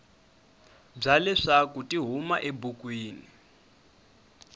bya leswaku ti huma ebukwini